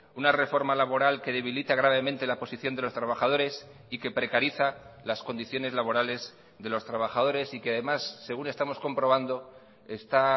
una reforma laboral que debilita gravemente la posición de los trabajadores y que precariza las condiciones laborales de los trabajadores y que además según estamos comprobando está